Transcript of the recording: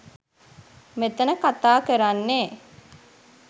මෙතන කතා කරන්නේ